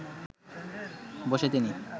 বসে তিনি